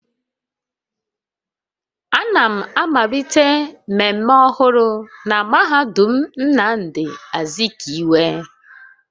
A na m amalite mmemme ọhụrụ na mahadum Nnamdi Azikiwe